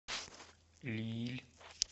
лилль